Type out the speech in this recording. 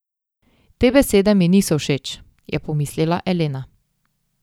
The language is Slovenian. Te besede mi niso všeč, je pomislila Elena.